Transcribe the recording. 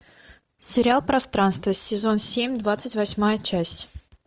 сериал пространство сезон семь двадцать восьмая часть